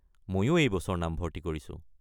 মইও এই বছৰ নাম ভৰ্তি কৰিছো।